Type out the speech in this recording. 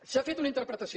s’ha fet una interpretació